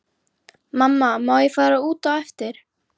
Mamma má ég fara út á eftir?